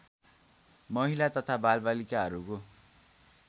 महिला तथा बालबालिकाहरूको